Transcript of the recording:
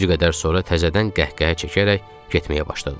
Bir qədər sonra təzədən qəhqəhə çəkərək getməyə başladı.